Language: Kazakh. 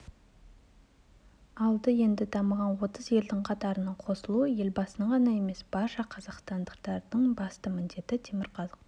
алды енді дамыған отыз елдің қатарына қосылу елбасының ғана емес барша қазақстандықтардың басты міндеті темірқазық